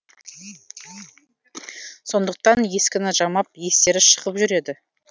сондықтан ескіні жамап естері шығып жүреді